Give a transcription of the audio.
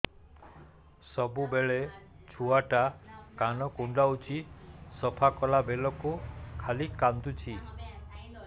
ସବୁବେଳେ ଛୁଆ ଟା କାନ କୁଣ୍ଡଉଚି ସଫା କଲା ବେଳକୁ ଖାଲି କାନ୍ଦୁଚି